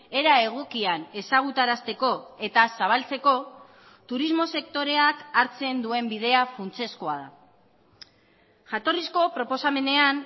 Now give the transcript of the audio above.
era egokian ezagutarazteko eta zabaltzeko turismo sektoreak hartzen duen bidea funtsezkoa da jatorrizko proposamenean